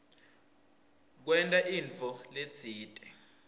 kwenta intfo letsite